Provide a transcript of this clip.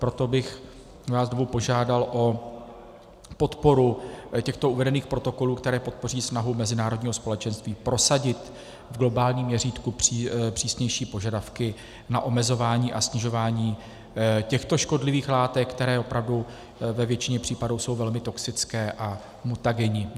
Proto bych vás znovu požádal o podporu těchto uvedených protokolů, které podpoří snahu mezinárodního společenství prosadit v globálním měřítku přísnější požadavky na omezování a snižování těchto škodlivých látek, které opravdu ve většině případů jsou velmi toxické a mutagenní.